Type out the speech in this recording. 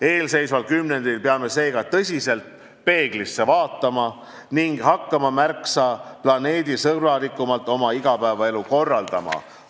Eelseisval kümnendil peame seega tõsiselt peeglisse vaatama ning hakkama märksa planeedisõbralikumalt oma igapäevaelu korraldama.